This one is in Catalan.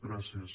gràcies